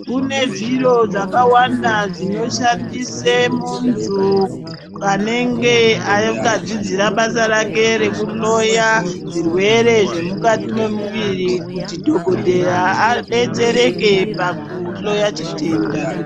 Kune zviro zvakàwanda zvinoshandisa muntu kwaanenge akadzidzira basa rake rekuhloya zvirwere zvemukati memuviri kuti dhokoteya adetsereke pakuhloya chitenda.